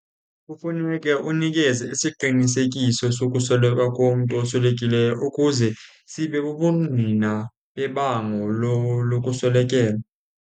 Kufuneke unikeze isiqinisekiso sokusweleka komntu oswelekileyo ukuze sibe bubungqina bebango lokuswelekelwa.